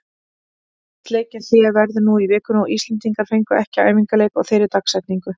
Landsleikjahlé verður nú í vikunni og Íslendingar fengu ekki æfingaleik á þeirri dagsetningu.